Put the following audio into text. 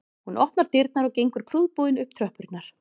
Hún opnar dyrnar og gengur prúðbúin upp tröppurnar